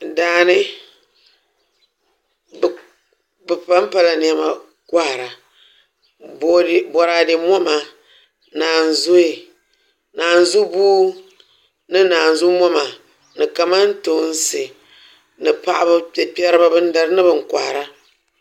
Daani bi panpala niɛma kohara boraadɛ moma naanzuhi naazu buu ni naanzu moma ni kamantoosi ni paɣaba bin dari ni bin kohara